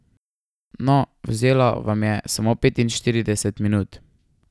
No, vzelo vam je samo petinštirideset minut.